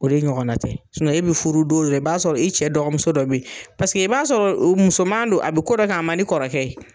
O de ɲɔgɔnna tɛ. e be furu don yɛrɛ i b'a sɔrɔ i cɛ dɔgɔmuso dɔ be ye paseke i b'a sɔrɔ o musoman don, a bɛ ko dɔ kɛ a man di kɔrɔkɛ ye.